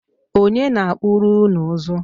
Ọnye na-akpụrụ ụnụ ụzụ?